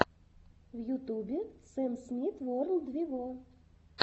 в ютубе сэм смит ворлд вево